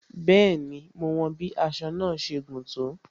Bẹẹni, mo wọn bí aṣọ náà ṣe gùn tó